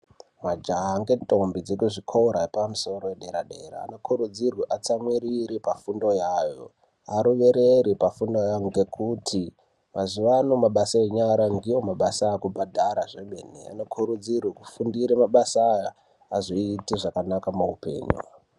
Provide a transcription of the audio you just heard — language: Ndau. Majaha ngendombi dekuzvi kora zvepamusoro edera dera anokurudzirwa atsamwirire pafundo iyayo arumerere pafundo yayo ngekuti mazuvano mabasa enyara ndiwo mabasa akutobhadhara zvemene unokurudzirwe tifundure mabasa aya azoite zvakanaka muupenyu.